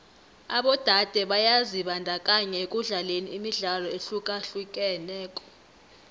abodade byazibandakanya ekudlaleni imidlalo ehlukahlukeneko